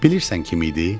Bilirsən kim idi?